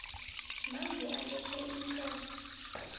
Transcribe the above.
manje alethe imitlolo